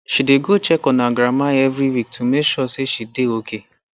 she dey go check on her grandma every week to make sure she dey okay